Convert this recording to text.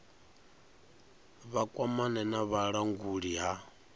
vha kwamane na vhulanguli ha